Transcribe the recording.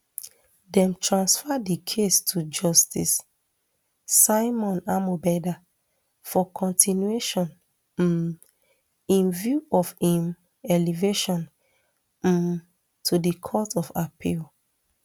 dem transfer di case to justice simon amobeda for continuation um in view of im elevation um to di court of appeal